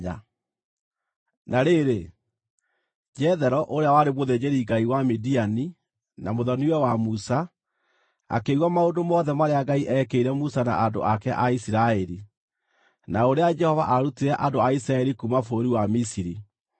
Na rĩrĩ, Jethero, ũrĩa warĩ mũthĩnjĩri ngai wa Midiani na mũthoni-we wa Musa, akĩigua maũndũ mothe marĩa Ngai eekĩire Musa na andũ ake a Isiraeli, na ũrĩa Jehova aarutire andũ a Isiraeli kuuma bũrũri wa Misiri.